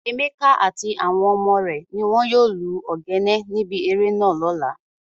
Emeka ati awon ọmọ re ni won yoo lu ogene nibi ere naa lola.